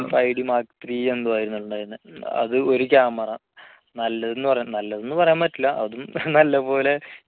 three എന്തോ ആയിരുന്നു ഉണ്ടായിരുന്നത് അതും ഒരു camera നല്ലതെന്ന് പറ നല്ലതെന്ന് പറയാൻ പറ്റില്ല അതും നല്ലപോലെ